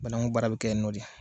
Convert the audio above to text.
Banaku baara bɛ kɛ yen nɔ de